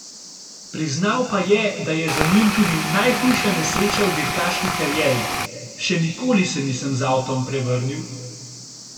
Priznal pa je, da je za njim tudi najhujša nesreča v dirkaški karieri: 'Še nikoli se nisem z avtom prevrnil.